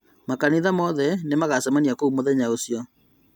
Makanitha mothe magacemania kũu mũthenya ũcio